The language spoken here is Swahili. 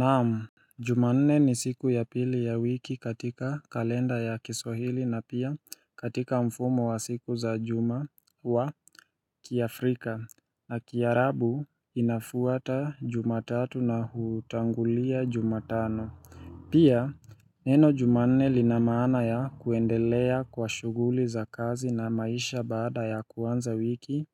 Naam, jumanne ni siku ya pili ya wiki katika kalenda ya kiswahili na pia katika mfumo wa siku za juma wa kiafrika na kiarabu inafuata jumatatu na hutangulia jumatano. Pia neno jumanne linamana ya kuendelea kwa shuguli za kazi na maisha baada ya kuanza wiki